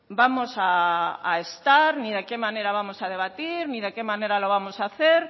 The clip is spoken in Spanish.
vamos a estar ni de qué manera vamos a debatir ni de qué manera lo vamos a hacer